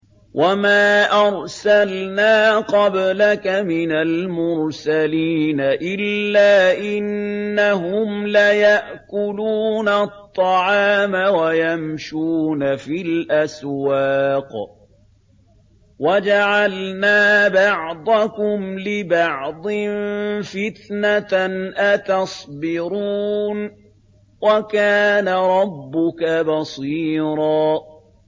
وَمَا أَرْسَلْنَا قَبْلَكَ مِنَ الْمُرْسَلِينَ إِلَّا إِنَّهُمْ لَيَأْكُلُونَ الطَّعَامَ وَيَمْشُونَ فِي الْأَسْوَاقِ ۗ وَجَعَلْنَا بَعْضَكُمْ لِبَعْضٍ فِتْنَةً أَتَصْبِرُونَ ۗ وَكَانَ رَبُّكَ بَصِيرًا